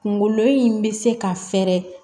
Kunkolo in bɛ se ka fɛɛrɛ